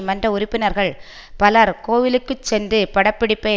மன்ற உறுப்பினர்கள் பலர் கோவிலுக்கு சென்று பட பிடிப்பை